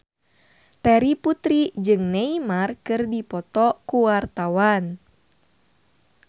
Terry Putri jeung Neymar keur dipoto ku wartawan